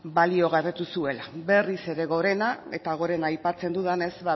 baliogabetu zuela berri ere gorena eta gorena aipatzen dudanez